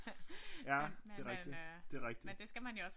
Ja det er rigtig det rigtig